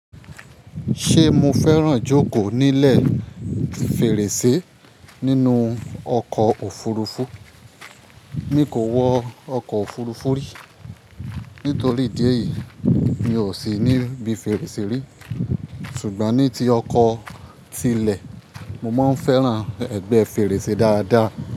Ṣé mo fẹ́ràn jókòó nílẹ̀ fèrèsé nínú ọkọ̀ òfurufú? Mi kò wọ ọkọ̀ òfurufú rí, nítorí ìdí èyí mi ò sì ní bí fèrèsé rí. Ṣùgbọ́n ní ti ọkọ̀ tí ilẹ̀, mo máa ń fẹ́ràn ẹgbẹ́ fèrèsé dáadáa.